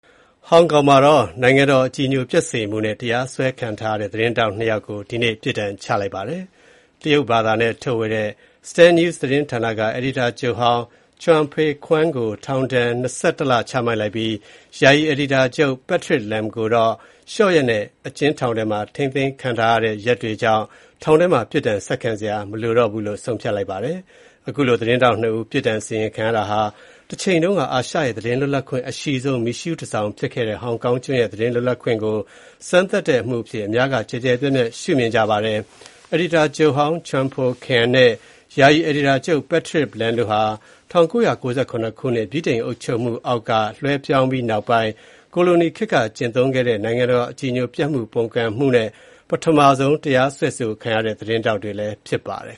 ဟောင်ကောင်မှာ နိုင်ငံတော် အကြည်ညိုပျက်စေမှုနဲ့ တရားစွဲဆိုခံထားရတဲ့ သတင်းထောက်နှစ်ယောက်ကို ဒီနေ့ ပြစ်ဒဏ်ချပါတယ်။ တရုတ်ဘာသာနဲ့ထုတ်ဝေတဲ့ Stand News သတင်းဌာနက အယ်ဒီတာချုပ်ဟောင်း Chung Pui-kuen ကို ထောင်ဒဏ် ၂၁ လ ချမှတ်လိုက်ပြီး ယာယီ အယ်ဒီတာချုပ် Patrick Lam ကတော့ လျှော့ရက်နဲ့ အကျဥ်းထောင်ထဲ ထိန်းသိမ်းခံထားရတဲ့ ရက်တွေကြောင့် ထောင်ထဲမှာ ပြစ်ဒဏ် ဆက်ခံစရာ မလိုတော့ပါဘူး။ အခုလို သတင်းထောက်နှစ်ဦး ပြစ်ဒဏ်စီရင်ခံရတာဟာ တချိန်တုန်းက အာရှရဲ့ သတင်းလွတ်လပ်ခွင့် အရှိဆုံး မီးရှုးတန်ဆောင် ဖြစ်ခဲ့တဲ့ ဟောင်ကောင်ကျွန်းရဲ့ သတင်းလွတ်လပ်ခွင့်ကို စမ်းသပ်တဲ့ အမှုအဖြစ် အများက ကျယ်ကျယ်ပြန့်ပြန့် ရှုမြင်ကြပါတယ်။ အယ်ဒီတာချုပ်ဟောင်း Chung Pui-kuen နဲ့ ယာယီ အယ်ဒီတာချုပ် Patrick Lam တို့ဟာ ၁၉၉၇ ခုနှစ် ဗြိတိန်အုပ်ချုပ်မှုအောက်က လွှဲပြောင်းပြီး နောက်ပိုင်း ကိုလိုနီခေတ်က ကျင့်သုံးတဲ့ နိုင်ငံတော် အကြည်ညိုပျက်စေမှု၊ ပုန်ကန်မှုနဲ့ ပထမဆုံး တရားစွဲဆိုခံခဲ့ရတဲ့ သတင်းထောက်တွေလည်း ဖြစ်ပါတယ်